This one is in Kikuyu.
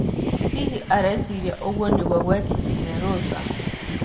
Hihi, areciria ũguo nĩguo gwekĩkĩire Rosa?